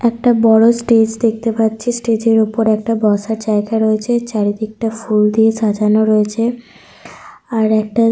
Stage -এর ঠিক পাশ করে ওঠার জায়গা রয়েছে একটা সিঁড়ি করা আছে।